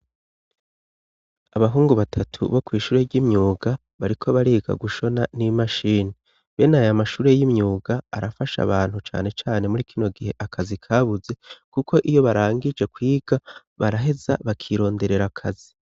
abahungu batatu bo kw' ishure ry'imyuga bariko bariga gushona n'imashini bene ayo mashure y'imyuga arafasha abantu cane cane muri kino gihe akazi kabuze kuko iyo barangije kwiga baraheza bakironderera akazi